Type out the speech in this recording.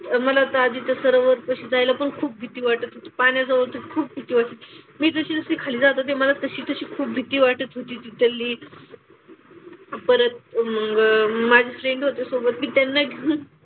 मला तर आधी त्या सरोवरापाशी जायला पण खूप भीती वाटत होती. पाण्याजवळ तर खूप भीती वाटत होती. मी जशी जशी खाली जात होते मला तशी तशी खूप भीती वाटत होती. तिथली. परत अं माझे फ्रेंड होते सोबत. मी त्यांना घेऊन,